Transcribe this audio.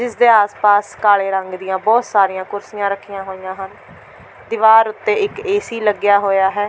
ਇਸ ਦੇ ਆਸ-ਪਾਸ ਕਾਲੇ ਰੰਗ ਦੀਆਂ ਬਹੁਤ ਸਾਰੀਆਂ ਕੁਰਸੀਆਂ ਰੱਖੀਆਂ ਹੋਈਆਂ ਹਨ ਦੀਵਾਰ ਉੱਤੇ ਇੱਕ ਏ.ਸੀ. ਲੱਗਿਆ ਹੋਇਆ ਹੈ।